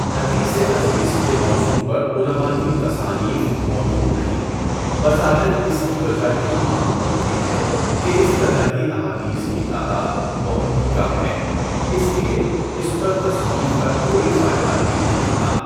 حدیث عزیز کے موضوع پر علماء کی تصانیف موجود نہیں، بظاہر اس کی وجہ یہی معلوم ہوتی ہے کہ اس طرح کی احادیث کی تعداد بہت کم ہے، اس لیے اس پر تصنیف کا کوئی فائدہ بھی نہیں تھا۔